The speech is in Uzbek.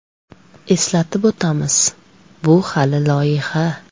Eslatib o‘tamiz, bu hali loyiha.